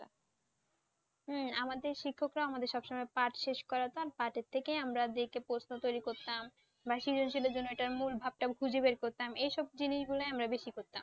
হ্যাঁ, আমাদের শিক্ষকরা আমাদের সব সময় পাঠ শেষ করাতাম। পাঠের থেকেই আমরা দেখে দেখে প্রশ্ন তৈরি করতাম। বা জন্যে এটা মুল ভাবটা খুঁজে বের করতাম এই সব জিনিস গুলই আমরা বেশি করতাম।